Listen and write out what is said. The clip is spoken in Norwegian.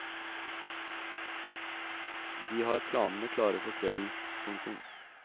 De har planene klare for kvelden. punktum